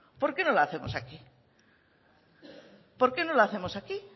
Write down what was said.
por qué no la hacemos aquí